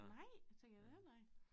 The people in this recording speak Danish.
Nej tænker jeg da heller ikke